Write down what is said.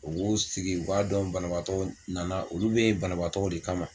U b'u sigi u b'a dɔn banabaatɔw nana olu be yen banabaatɔw de kama